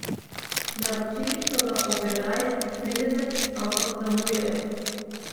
Naročili so ga ob enajst trideset, ampak zamujajo.